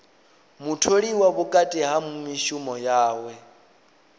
mutholiwa vhukati ha mishumo yawe